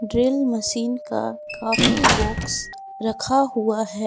Drill machine का काफी box रखा हुआ है।